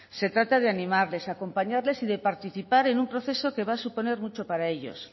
se trata de animarles acompañarles y de participar en un proceso que va a suponer mucho para ellos